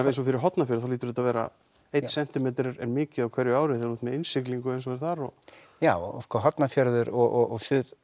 eins og fyrir Hornafjörð þá hlýtur þetta að vera einn sentímetri er mikið á hverju ári þegar þú ert með innsiglingu eins og er þar já sko Hornafjörður og